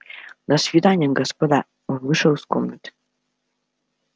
до свидания господа он вышел из комнаты